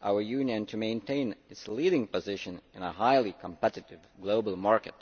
our Union to maintain its leading position in a highly competitive global market.